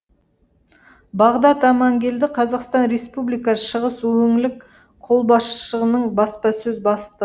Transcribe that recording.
бағдат амангелді қазақстан республикасы шығыс өңілік қолбасшылығының баспасөз бастығы